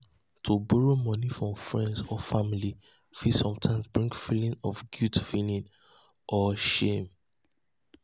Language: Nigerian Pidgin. to borrow moni from friends or family fit sometimes bring feelings of guilt feelings of guilt and shame.